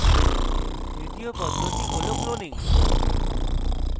তৃতীয় পদ্ধতি হল cloning